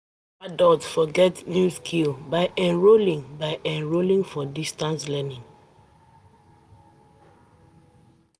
Adult for get new skills by enrolling by enrolling for distance learning